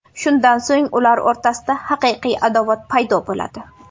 Shundan so‘ng ular o‘rtasida haqiqiy adovat paydo bo‘ladi.